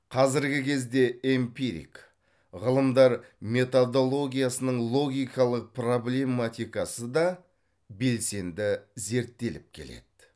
қазіргі кезде эмпирик ғылымдар методологиясының логикалық проблематикасы да белсенді зерттеліп келеді